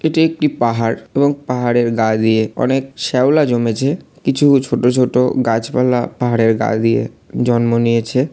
এটি একটি পাহাড় এবং পাহাড়ের গা দিয়ে অনেক শ্যাওলা জমেছে। কিছু ছোট ছোট গাছপালা পাহাড়ের গা দিয়ে জন্ম নিয়েছে।